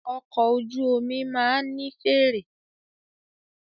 Ọkọ̀ ojú omi máà ní fèèrè.